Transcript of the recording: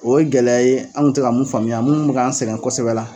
O ye gɛlɛya ye an kun te ka mun faamuya munnu kun be k'an sɛgɛn kosɛbɛ la